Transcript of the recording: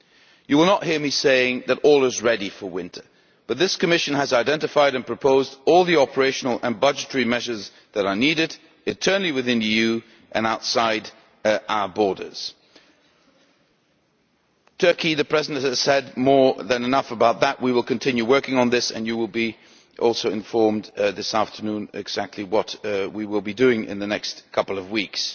You will not hear me saying that all is ready for winter but this Commission has identified and proposed all the operational and budgetary measures that are needed internally within the EU and outside our borders. With regard to Turkey, the President has said more than enough we will continue working on this, and you will also be informed this afternoon about exactly what we will be doing in the next couple of weeks.